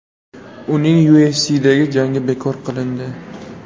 Uning UFC’dagi jangi bekor qilindi.